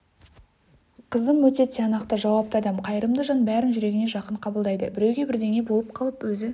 қызым өте тиянақты жауапты адам қайырымды жан бәрін жүрегіне жақын қабылдайды біреуге бірдеңе болып қалып өзі